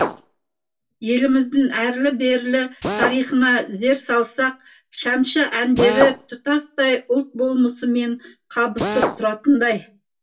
еліміздің әрлі берлі тарихына зер салсақ шәмші әндері тұтастай ұлт болмысымен қабысып тұратындай